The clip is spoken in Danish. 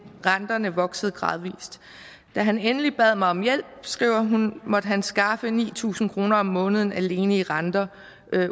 renterne voksede gradvis da han endelig bad mig om hjælp skriver hun måtte han skaffe ni tusind kroner om måneden alene til renter